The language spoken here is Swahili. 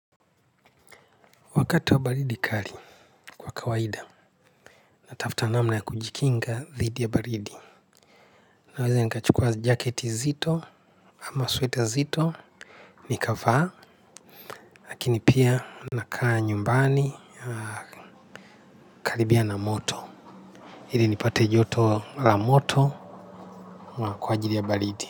Wakati wa baridi kali, kwa kawaida, natafuta namna ya kujikinga dhidi ya baridi. Naweza nikachukua jaketi nzito, ama sweta nzito, nikavaa. Lakini pia nakaa nyumbani, na karibia na moto. Ili nipate joto la moto, kwa kwa ajili ya baridi.